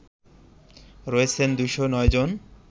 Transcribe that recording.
রয়েছেন ২০৯ জন